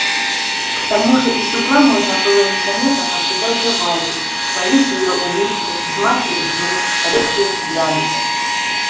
к тому же из угла можно было незаметно наблюдать за валей ловить её улыбки взмахи ресниц редкие взгляды